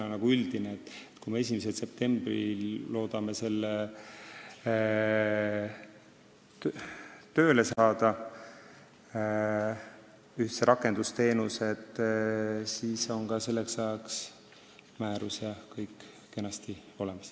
Me loodame üldised rakendusteenused 1. septembriks tööle saada ja selleks ajaks on ka määrus kenasti olemas.